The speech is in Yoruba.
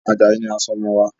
Ajayi ni a sọ ọmọ wa.